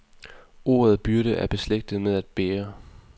Ordet byrde er beslægtet med at bære,